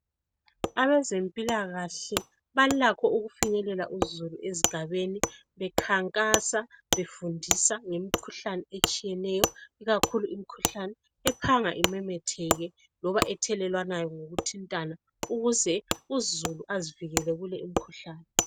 Abezempilakahle balakho okufinyelelwa uzulu ezigabeni bekhankasa befundisa ngemikhuhlane etshiyeneyo ikakhulu imkhuhlane ephanga imameteke loba ethelelwana ngokutintana ukuze uzulu azifileke kule imkhuhlane